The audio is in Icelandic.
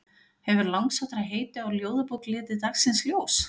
Hefur langsóttara heiti á ljóðabók litið dagsins ljós?